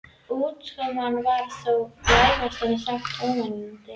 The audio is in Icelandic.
Útkoman var þó vægast sagt ógnvekjandi.